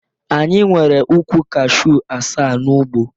Anyị nwere ukwu Kashu asaa n'ugbo.